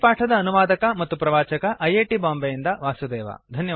ಈ ಪಾಠದ ಅನುವಾದಕ ಮತ್ತು ಪ್ರವಾಚಕ ಐ ಐ ಟಿ ಬಾಂಬೆಯಿಂದ ವಾಸುದೇವ